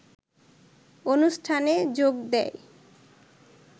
অনুষ্ঠানে যোগ দেয়